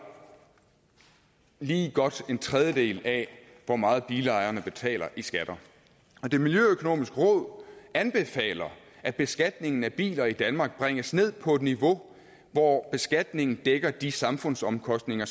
lige godt en tredjedel af hvor meget bilejerne betaler i skatter og det miljøøkonomiske råd anbefaler at beskatningen af biler i danmark bringes ned på et niveau hvor beskatningen af dækker de samfundsomkostninger